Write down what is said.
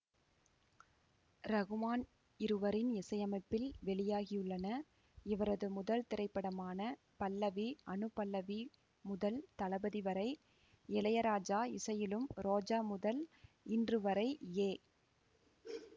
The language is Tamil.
ரஹ்மான் இருவரின் இசையமைப்பில் வெளியாகியுள்ளன இவரது முதல் திரைப்படமான பல்லவி அனுபல்லவி முதல் தளபதி வரை இளையராஜா இசையிலும் ரோஜா முதல் இன்று வரை ஏ